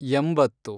ಎಂಬತ್ತು